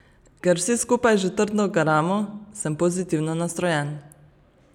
Ker vsi skupaj že trdo garamo, sem pozitivno nastrojen.